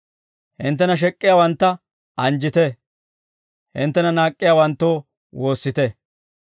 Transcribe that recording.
hinttena shek'k'iyaawantta anjjite, hinttena naak'k'iyaawanttoo, woossite.